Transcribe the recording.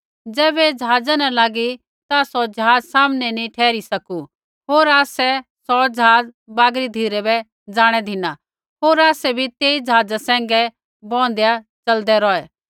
ज़ैबै ऐ ज़हाज़ा न लागी ता सौ ज़हाजा सामनै नी ठहरी सकू होर आसै सौ ज़हाज़ बागरी धिरै बै ज़ाणै धिना होर आसै बी तेई ज़हाज़ सैंघै बैंहदेआ च़लदै रौहै